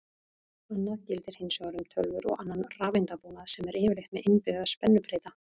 Annað gildir hins vegar um tölvur og annan rafeindabúnað sem er yfirleitt með innbyggða spennubreyta.